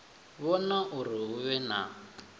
vhona uri hu vhe na